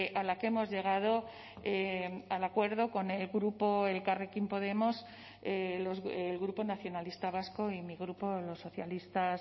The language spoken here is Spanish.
a la que hemos llegado al acuerdo con el grupo elkarrekin podemos el grupo nacionalista vasco y mi grupo los socialistas